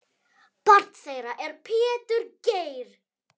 Barn þeirra er Pétur Geir.